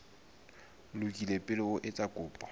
lokile pele o etsa kopo